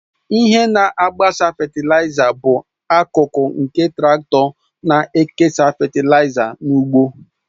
Ihe na-agbasa fetịlaịza bụ akụkụ nke traktọ na-ekesa fetịlaịza n'ugbo